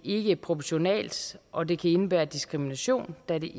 ikke proportionalt og det kan indebære diskrimination da det